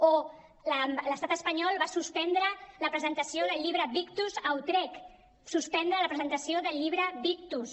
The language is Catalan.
o l’estat espanyol va suspendre la presentació del llibre victus a utrecht suspendre la presentació del llibre victus